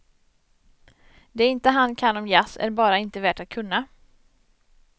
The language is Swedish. Det inte han kan om jazz är bara inte värt att kunna.